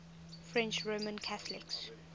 french roman catholics